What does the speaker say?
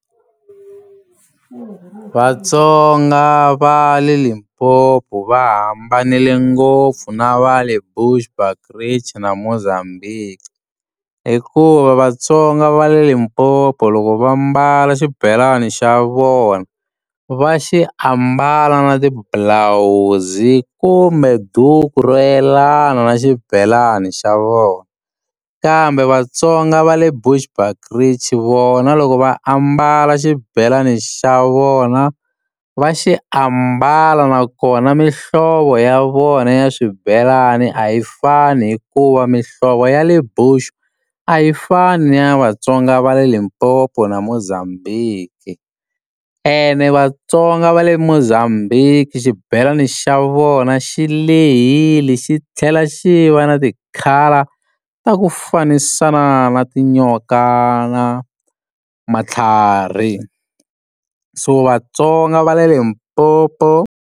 Vatsonga va le Limpopo va hambanile ngopfu na va le Bushbukrige na Mozambique hikuva vatsonga va le Limpopo loko va mbala xibelani xa vona va xi ambala na ti bulawuzi kumbe duku ro yelana na xibelani xa vona kambe vatsonga va le Bushbuskrige vona loko va ambala xibelani xa vona va xi ambala nakona mihlovo ya vona ya swibelani a yi fani hikuva mihlovo ya le Bush a yi fani ni ya vatsonga va le Limpopo na Mozambique ene vatsonga va le Mozambique xibelani xa vona xi lehile xi tlhela xi va na ti-colour ta ku fanisa na na tinyoka na matlhari so vatsonga va le Limpopo.